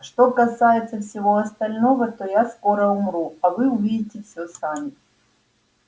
что касается всего остального то я скоро умру а вы увидите все сами